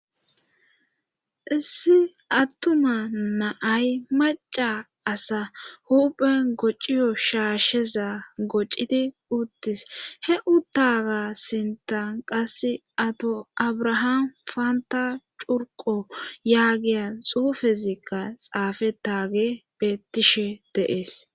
issi attuma naay maca asa huphen gociyo shaasheza gocidi uttis he uttaga sintan qass ato abrahaam panta curqo yaagiyan xuufezikka xaafetaage bettishe de'ees